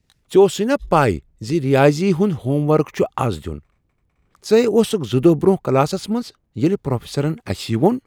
ژےٚ اوسُے نا پے ز ریاضی ہنٛد ہوم ورک چھ از دین؟ ژٕ ہے اوسکھ زٕ دۄہ برٛونٛہہ کلاسس منٛز ییٚلہ پرٛوفیسرن اسہ یہ ووٚن۔